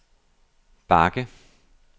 bakke